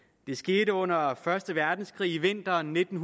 det skete under første verdenskrig i vinteren nitten